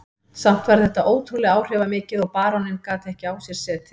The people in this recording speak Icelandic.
Samt var þetta ótrúlega áhrifamikið og baróninn gat ekki á sér setið.